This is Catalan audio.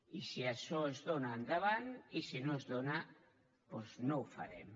i si això es dóna endavant i si no es dóna doncs no ho farem